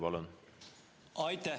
Palun!